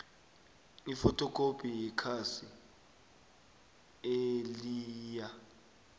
ifothokhophi yekhasi eliyia